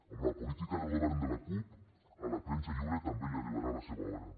amb la política del govern de la cup a la premsa lliure també li arribarà la seva hora